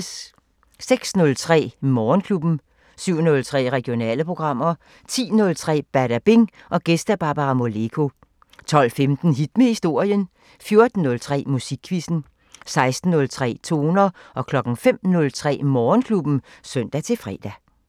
06:03: Morgenklubben 07:03: Regionale programmer 10:03: Badabing: Gæst Barbara Moleko 12:15: Hit med historien 14:03: Musikquizzen 16:03: Toner 05:03: Morgenklubben (søn-fre)